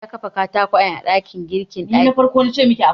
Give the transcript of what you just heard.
Musa ya kafa katakwayen ɗakin girki a ɗakin girkin.